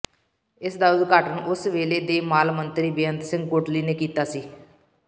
ਇਸ ਦਾ ਉਦਘਾਟਨ ਉਸ ਵੇਲੇ ਦੇ ਮਾਲ ਮੰਤਰੀ ਬੇਅੰਤ ਸਿੰਘ ਕੋਟਲੀ ਨੇ ਕੀਤਾ ਸੀ